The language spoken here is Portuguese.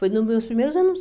Foi nos meus primeiros anos.